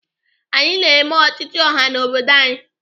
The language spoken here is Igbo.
Anyị na-eme ọchịchị ọha n'obodo anyị